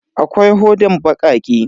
Akwai hodan bakake.